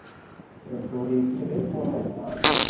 இப்போ ஒரு எட்டு பேரு போறோம்னா